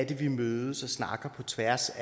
vi mødes og snakker på tværs